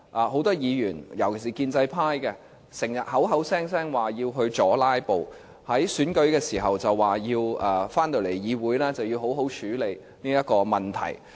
很多議員，尤其是建制派，時常聲稱要阻"拉布"，在選舉時說返回議會時要好好處理這個問題。